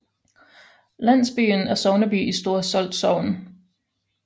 Landsbyen er sogneby i Store Solt Sogn